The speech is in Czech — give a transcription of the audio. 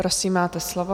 Prosím, máte slovo.